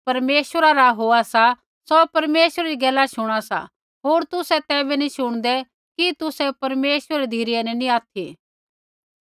ज़ो कोई परमेश्वरा रा होआ सा सौ परमेश्वरै री गैला शुणा सा होर तुसै तैबै नी शुणदै कि तुसै परमेश्वरै री धिरै न नैंई ऑथि